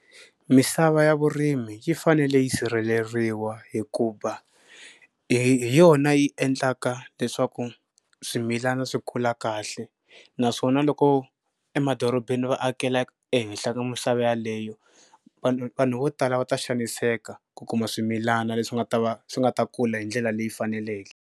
Misava ya vurimi yi fanele yi sirheleriwa hikuva hi yona yi endlaka leswaku swimilana swi kula kahle naswona loko emadorobeni va akela ehenhla ka misava yaleyo vanhu vanhu vo tala va ta xaniseka ku kuma swimilana leswi nga ta va swi nga ta kula hi ndlela leyi faneleke.